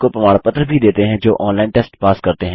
वे उनको प्रमाण पत्र भी देते हैं जो ऑनलाइन टेस्ट पास करते हैं